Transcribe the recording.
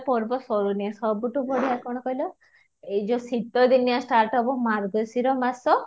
ପର୍ବ ସରୁନି ସବୁଠୁ ବଢିଆ କ'ଣ କହିଲ ଏଇ ଯାଉ ଶୀତ ଦିନିଆ start ହେବ ମାର୍ଗଶୀର ମାସ